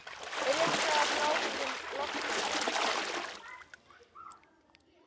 Er rétt staðið að frágangi loftplötunnar?